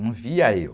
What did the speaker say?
Não via eu.